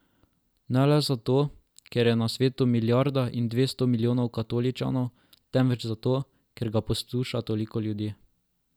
Ne le zato, ker je na svetu milijarda in dvesto milijonov katoličanov, temveč zato, ker ga posluša toliko ljudi.